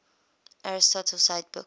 aristotle cite book